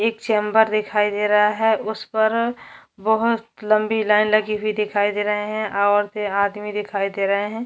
एक चेम्बर दिखाई दे रहा है उस पर बहोत लम्बी लाइन लगी हुई दिखाई दे रहे है औरते आदमी दिखाई दे रहे है।